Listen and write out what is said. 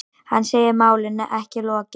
Hann segir málinu ekki lokið.